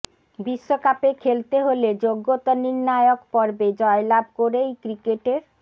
বিশ্বকাপে খেলতে হলে যোগ্যতা নির্নায়ক পর্বে জয় লাভ করেই ক্রিকেটের